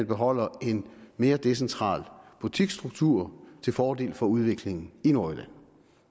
beholder en mere decentral butiksstruktur til fordel for udviklingen i nordjylland